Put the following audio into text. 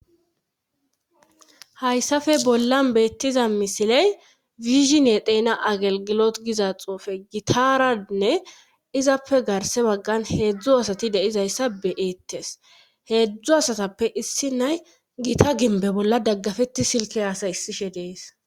hayssafe bollan beettiza misiley wishinie teena agelgilo giza xoufe gitaranne izappe garse baggan heedzdzu asati deizayssa beeettes heedzdzu asatappe issi nay gita gimbe bolla daggafetti silke hasay issishe dees